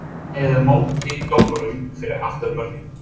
með eða móti dómurum fyrir aftan mörkin?